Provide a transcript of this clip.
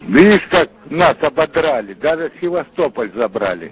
видишь как нас ободрали даже севастополь забрали